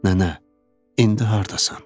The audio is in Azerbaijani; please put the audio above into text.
Nənə, indi hardasan?